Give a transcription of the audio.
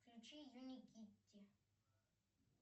включи юникитти